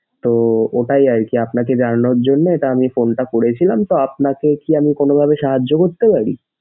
তো ওটাই আরকি আপনাকে জানানোর জন্যে এটা আমি phone টা করেছিলাম তো আপনাকে কি আমি কোনোভাবে সাহায্য করতে পারি?